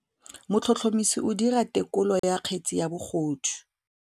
Motlhotlhomisi o dira têkolô ya kgetse ya bogodu.